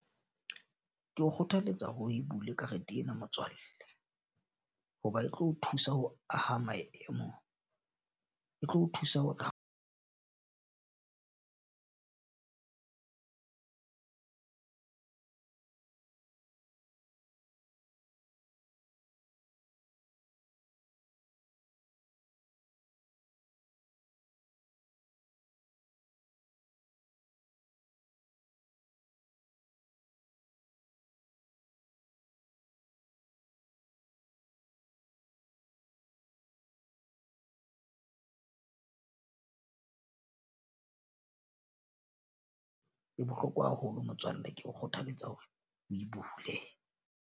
Ke o kgothaletsa ho e bule karete ena motswalle. Ho ba e tlo o thusa ho aha maemo, e tlo o thusa hore e bohlokwa haholo motswalle ke o kgothaletsa hore o e bule.